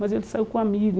Mas ele saiu com um amigo.